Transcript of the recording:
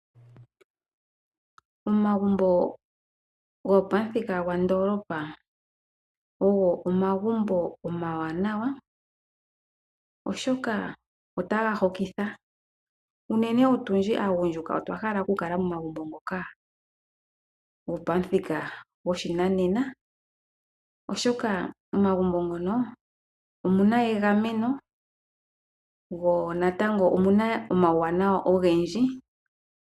Omagumbo gopamuthika gwandoolopa ogo omagumbo omawanawa, oshoka otaga hokitha. Unene otundji aagundjuka otwa hala okukala momagumbo ngoka gopamuthika goshinanena, oshoka momagumbo mono omu na egameno mo omu na omauwanawa ogendji.